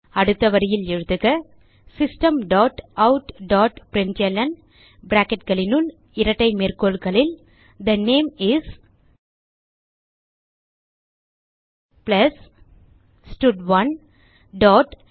அடுத்த வரியில் எழுதுக system dot out dot println bracketகளுனுள் இரட்டை மேற்கோள்களில் தே நேம் இஸ் பிளஸ் ஸ்டட்1 டாட்